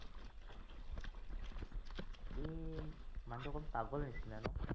সি মানু্হটো অকমান পাগল নিচিনা ন